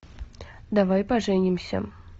давай поженимся